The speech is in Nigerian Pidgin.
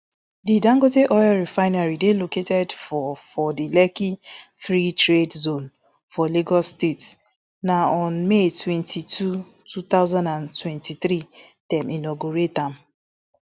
di dangote oil refinery dey located for for di lekki free trade zone for lagos state na on may twenty-two two thousand and twenty-three dem inaugurate am